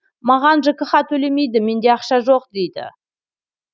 маған жкх төлемейді менде ақша жоқ дейді